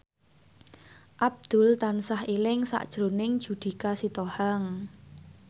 Abdul tansah eling sakjroning Judika Sitohang